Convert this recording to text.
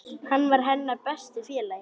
Hann var hennar besti félagi.